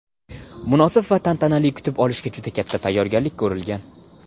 Munosib va tantanali kutib olishga juda katta tayyorgarlik ko‘rilgan.